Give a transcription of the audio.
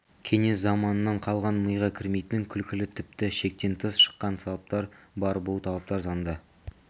кеңес заманынан қалған миға кірмейтін күлкілі тіпті шектен тыс шыққан талаптар бар бұл талаптар заңда